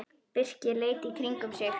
Birkir leit í kringum sig.